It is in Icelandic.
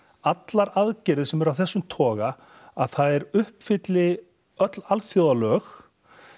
allar aðgerðir sem eru af þessum toga að þær uppfylli öll alþjóðalög